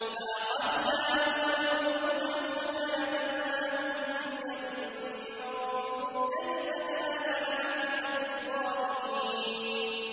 فَأَخَذْنَاهُ وَجُنُودَهُ فَنَبَذْنَاهُمْ فِي الْيَمِّ ۖ فَانظُرْ كَيْفَ كَانَ عَاقِبَةُ الظَّالِمِينَ